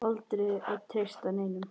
Aldrei að treysta neinum.